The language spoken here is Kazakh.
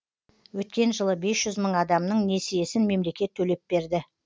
өткен жылы бес жүз мың адамның несиесін мемлекет төлеп берді